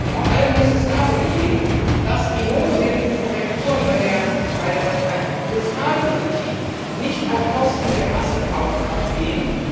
Vor allem muss es darum gehen, dass die notwendigen Korrekturen bei der Fiskalpolitik nicht auf Kosten der Massenkaufkraft gehen.